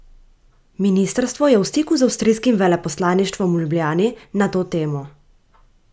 Ministrstvo je v stiku z avstijskim veleposlaništvom v Ljubljani na to temo.